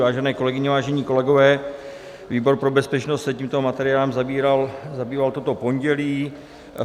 Vážené kolegyně, vážení kolegové, výbor pro bezpečnost se tímto materiálem zabýval toto pondělí.